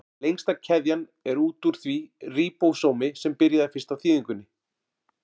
Lengsta keðjan er út úr því ríbósómi sem byrjaði fyrst á þýðingunni.